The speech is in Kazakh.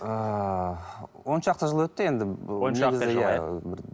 ыыы он шақты жыл өтті енді